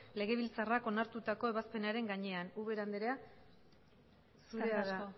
legebiltzarrak onartutako ebazpenaren gainean ubera anderea zurea da hitza eskerrik asko